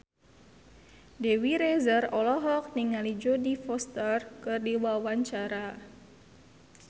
Dewi Rezer olohok ningali Jodie Foster keur diwawancara